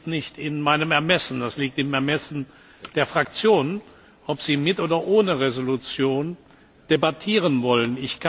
Das liegt nicht in meinem Ermessen, es liegt im Ermessen der Fraktionen, ob sie mit oder ohne Entschließung debattieren wollen.